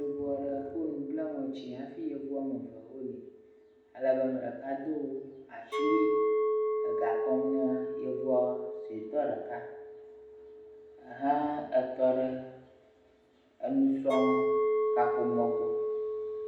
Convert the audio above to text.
Yevu aɖe kɔ nu bla ŋɔti hafi yevu woame eve aɖe li ale be ame ɖeka do asiwui le gɔ kɔm ne yevua suetɔ ɖeka ehẽ etɔ ɖe enusrɔ̃kaƒomɔ gbɔ.